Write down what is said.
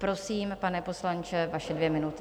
Prosím, pane poslanče, vaše dvě minuty.